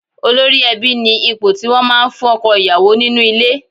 Olórí ẹbí ni ipò tí wọ́n máa ń fún ọkọ ìyàwó nínú ilé